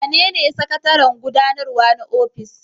Wanene sakataren gudanarwa na ofis?